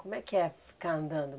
Como é que é ficar andando?